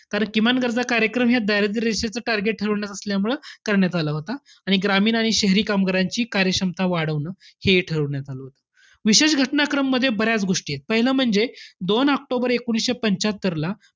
कारण, किमान गरज कार्यक्रम ह्या दारिद्र्य रेषेचं target ठरवण्यात असल्यामुळं करण्यात आला होता. आणि ग्रामीण आणि शहरी कामगारांची कार्यक्षमता वाढवणं, हे ठरवण्यात आलं होतं. विशेष घटनाक्रममध्ये बऱ्याच गोष्टी आहेत. पहिलं म्हणजे, दोन ऑक्टोबर एकोणीसशे पंच्यात्तरला,